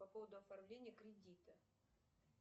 по поводу оформления кредита